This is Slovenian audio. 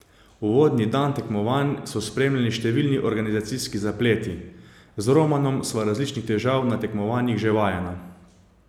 Uvodni dan tekmovanj so spremljali številni organizacijski zapleti: 'Z Romanom sva različnih težav na tekmovanjih že vajena.